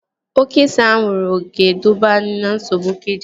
Oke ise anwụrụ ga-eduba na nsogbu kidini